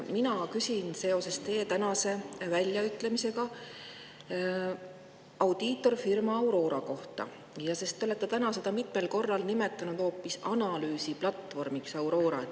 Mina küsin seoses teie tänase väljaütlemisega audiitorfirma Aurora kohta, sest te olete täna seda mitmel korral nimetanud hoopis analüüsiplatvormiks Aurora.